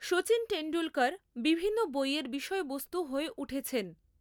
শচীন তেন্ডুলকর বিভিন্ন বইয়ের বিষয়বস্তু হয়ে উঠেছেন।